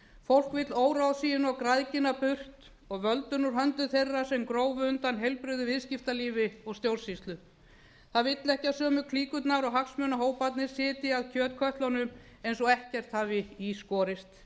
fólk vill óráðsíuna og græðgina burt og völdin úr höndum þeirra sem grófu undan heilbrigðu viðskiptalífi og stjórnsýslu það vill ekki að sömu klíkurnar og hagsmunahóparnir sitji að kjötkötlunum eins og ekkert hafi í skorist